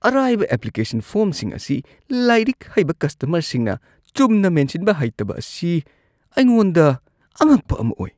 ꯑꯔꯥꯏꯕ ꯑꯦꯄ꯭ꯂꯤꯀꯦꯁꯟ ꯐꯣꯔ꯭ꯝꯁꯤꯡ ꯑꯁꯤ ꯂꯥꯏꯔꯤꯛ ꯍꯩꯕ ꯀꯁꯇꯃꯔꯁꯤꯡꯅ ꯆꯨꯝꯅ ꯃꯦꯟꯁꯤꯟꯕ ꯍꯩꯇꯕ ꯑꯁꯤ ꯑꯩꯉꯣꯟꯗ ꯑꯉꯛꯄ ꯑꯃ ꯑꯣꯏ ꯫ (ꯒꯦꯁ ꯑꯦꯖꯦꯟꯁꯤꯒꯤ ꯃꯤꯍꯨꯠ)